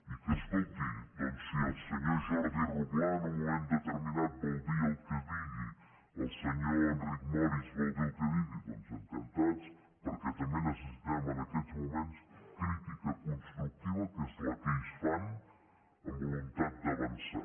i que escolti doncs si el senyor jordi roglà en un moment determinat vol dir el que digui el senyor enric morist vol dir el que digui doncs encantats perquè també necessitem en aquests moments crítica constructiva que és la que ells fan amb voluntat d’avançar